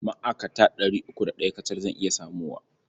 Ma'akata ɗari uku da ɗaya kacal zan iya samowa.